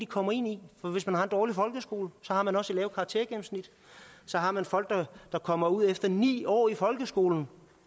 kommer ind i for hvis man har en dårlig folkeskole har man også et lavt karaktergennemsnit og så har man folk der kommer ud efter ni år i folkeskolen